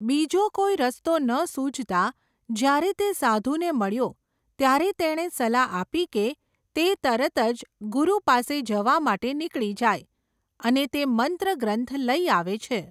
બીજો કોઈ રસ્તો ન સૂઝતા, જ્યારે તે સાધુને મળ્યો, ત્યારે તેણે સલાહ આપી કે, તે તરત જ ગુરુ પાસે જવા માટે નીકળી જાય, અને તે મંત્ર ગ્રંથ લઈ આવે છે.